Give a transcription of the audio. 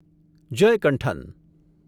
Jayakanthan